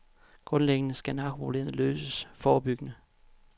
Grundlæggende skal narkoproblemet løses forebyggende.